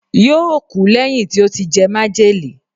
yóò kú lẹ́yìn tí ó ti jẹ májèlé